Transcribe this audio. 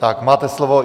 Tak, máte slovo.